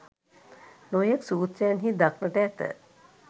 නොයෙක් සූත්‍රයන් හි දක්නට ඇත.